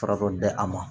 Fara dɔ di a ma